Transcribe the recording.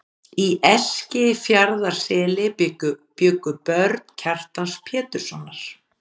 Í Eskifjarðarseli bjuggu börn Kjartans Péturssonar.